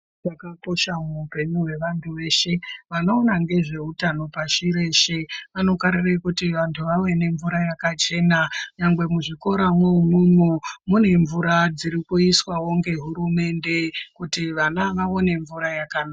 Zvakakosha muupenyu hwevantu veshe vanoona ngezveutano pashi reshe. Vanokarire kuti vantu vave nemvura yakachena nyangwe muzvikora mwo umwomwo mune mvura dziri kuiswavo ngehurumende kuti vana vaone mvura yakanaka.